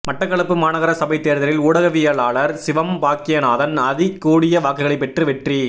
மட்டக்களப்பு மாநகர சபைத் தேர்தலில் ஊடகவியலாளர் சிவம் பாக்கியநாதன் அதிகூடிய வாக்குகளைப் பெற்று வெற்றி